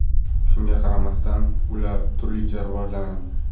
Shunga qaramasdan, ular turlicha rivojlanadi.